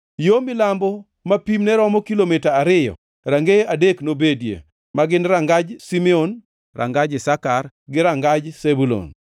Yo milambo, ma pimne romo kilomita ariyo, rangeye adek nobedie, ma gin: rangaj Simeon, rangaj Isakar gi rangaj Zebulun.